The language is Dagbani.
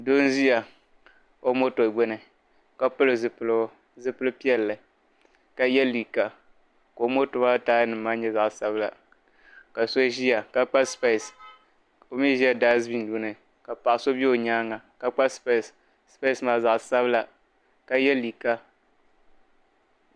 Daani ka doo zaŋ kunkona dimini pepe. ɔnio naan zuwa kamantoonsi ni nyuya n zaŋ sɔŋ pani ka ʒa di gbu ni ka shabi ʒin ʒiya